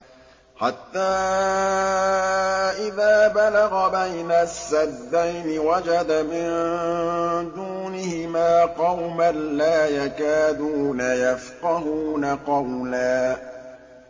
حَتَّىٰ إِذَا بَلَغَ بَيْنَ السَّدَّيْنِ وَجَدَ مِن دُونِهِمَا قَوْمًا لَّا يَكَادُونَ يَفْقَهُونَ قَوْلًا